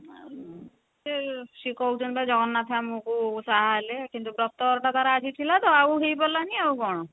ଆଉ ସେ କହୁଛନ୍ତି ତ ଜଗନ୍ନାଥ ଆମକୁ ସାହା ହେଲେ କିନ୍ତୁ ବ୍ରତ ଘର ଟା ତାର ଆଜି ଥିଲା ତ ଆଉ ହେଇପାରିଲାନି ଆଉ କଣ